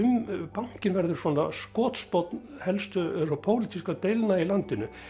bankinn verður skotspónn pólitískra deilna í landinu